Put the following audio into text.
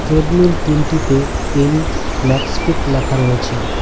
Treadmill তিনটিতে M Maxfit লেখা রয়েছে।